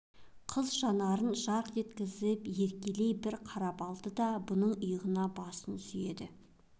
қыз жанарын жарқ еткізіп еркелей бір қарап алды да бұның иығына басын сүйеді